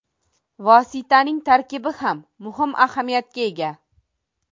Vositaning tarkibi ham muhim ahamiyatga ega.